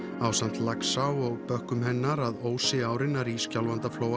ásamt Laxá og bökkum hennar að Ósi árinnar í Skjálfandaflóa